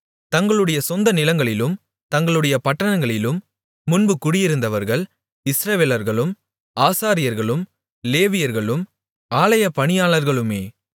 தங்களுடைய சொந்த நிலங்களிலும் தங்களுடைய பட்டணங்களிலும் முன்பு குடியிருந்தவர்கள் இஸ்ரவேலர்களும் ஆசாரியர்களும் லேவியர்களும் ஆலயப்பணியாளர்களுமே